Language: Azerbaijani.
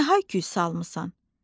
Nə hay-küy salmısan?